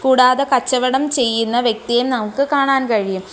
കൂടാതെ കച്ചവടം ചെയ്യുന്ന വ്യക്തിയേം നമുക്ക് കാണാൻ കഴിയും.